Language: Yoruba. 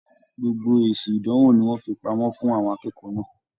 Gbogbo esi ìdánwò ní wọn fí pamọ́ fún àwọn akẹ́kọ̀ọ́ náà.